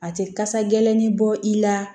A tɛ kasa gɛlɛnni bɔ i la